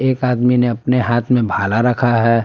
एक आदमी ने अपने हाथ में भाला रखा है।